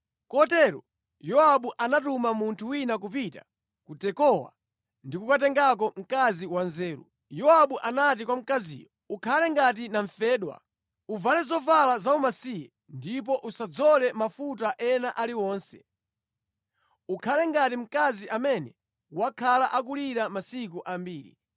Kotero Yowabu anatuma munthu wina kupita ku Tekowa ndi kukatengako mkazi wanzeru. Yowabu anati kwa mkaziyo, “Ukhale ngati namfedwa. Uvale zovala zaumasiye ndipo usadzole mafuta ena aliwonse. Ukhale ngati mkazi amene wakhala akulira masiku ambiri.